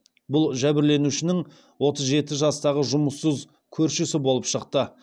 бұл жәбірленушінің отыз жеті жастағы жұмыссыз көршісі болып шықты